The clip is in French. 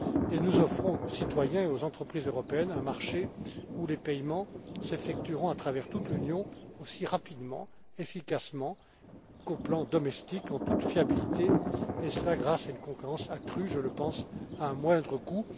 Enfin, nous offrons aux citoyens et aux entreprises européennes un marché où les paiements s'effectueront à travers toute l'Union aussi rapidement, efficacement qu'au plan domestique, en toute fiabilité et cela, grâce à une concurrence accrue, je le pense, à un moindre coût.